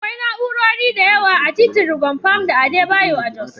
Akwai na'urori da yawa a titin Rwang Pam da Adebayo a Jos.